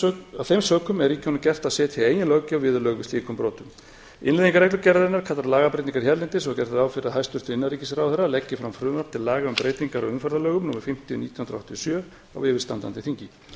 af þeim sökum er ríkjunum gert að setja eigin löggjöf viðurlög við slíkum brotum innleiðing reglugerðarinnar kallar á hérlendis og er gert ráð fyrir því að hæstvirtur innanríkisráðherra leggi fram frumvarp til laga um breytingar á umferðarlögum númer fimmtíu nítján hundruð áttatíu og sjö á yfirstandandi þingi